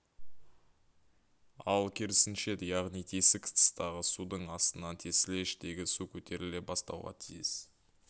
ал керісінше яғни тесік тыстағы судың астынан тесілсе іштегі су көтеріле бастауға тиіс